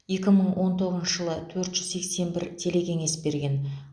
екі мың он тоғызыншы жылы төрт жүз сексен бір телекеңес берген